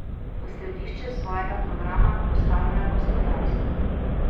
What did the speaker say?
V središče svojega programa postavljajo gospodarstvo.